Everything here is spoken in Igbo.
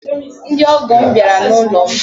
Ndi ọgọm bịara n’ụlọm